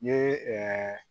N ye